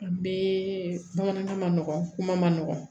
Bɛɛ bamanankan manɔgɔn ma nɔgɔn